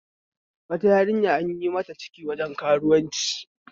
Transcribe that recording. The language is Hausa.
Wata yarinya anyi mata ciki waje karuwanci